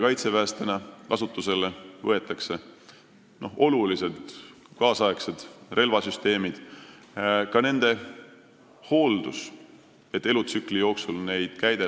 Kaitseväes võetakse kasutusele uusi tehnoloogiaid, relvasüsteemid on märksa moodsamad ja tähtis on ka nende hooldus, et neid saaks ettenähtud elutsükli jooksul kasutada.